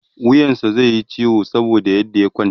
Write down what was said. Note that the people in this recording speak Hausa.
wuyansa zaiyi ciwo saboda yadda ya kwanta